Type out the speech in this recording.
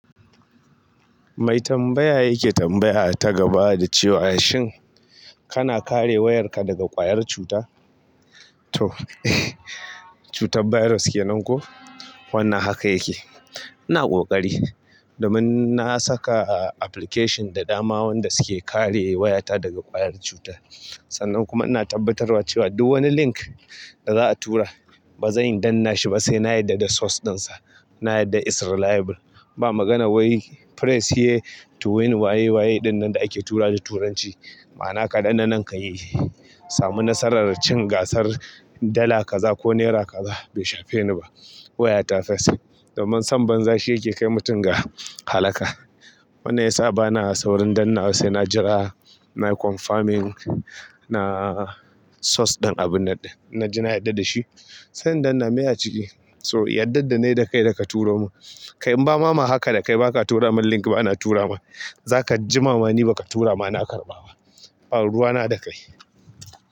Mai tambaya yake tambaya ta gaba da cewa, "Shin kana kare wayarka daga ƙwayar cuta?" To cutar bairus ke nan ko? Wannan haka yake. Ina ƙoƙari, du mun na saka application da dama wanda suke kare wayata daga ƙwayar cuta. Sannan kuma ina tabbatarwa cewa duk wani link da za'a tura ba zan iya danna shi ba sai na yarda da source ɗinsa. Na yarda is reliable. Ba magana wai press here to win waye waye ɗin nan da ake tura da turanci. Ma'ana dan na nan ka yi, samu nasarar cin gasar dala kaza ko naira kaza. Bai shafe ni ba. Wayata first. Domin sam banza shi yake kai mutum ga halaka. Wanne ya saba na saurin danna sai na jira, nayi confirming, na source ɗin abunnan ɗin in na ji yarda da shi. Sai in danna maya a ciki. So, ya daddan da nayi da kai ka da ka turo mun. Kai im ba ma ma haka da kai in baka tura mun link bana tura ma. Zakajima ma ni baka tura na karɓa ba ba, ruwa na da kai.